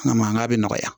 A mankan bɛ nɔgɔya